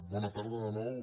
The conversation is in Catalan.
bona tarda de nou